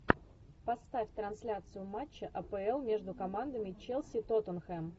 поставь трансляцию матча апл между командами челси тоттенхэм